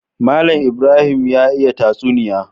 Mallan Ibrahim ya iya tatsuniya